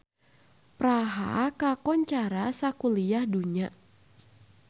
Praha kakoncara sakuliah dunya